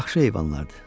Yaxşı heyvanlardır.